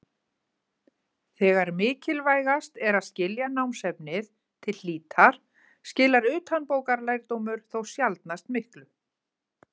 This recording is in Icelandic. Þegar mikilvægast er að skilja námsefnið til hlítar skilar utanbókarlærdómur þó sjaldnast miklu.